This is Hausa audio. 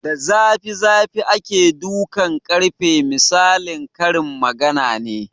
Da zafi zafi ake dukan ƙarfe misalin karin magana ne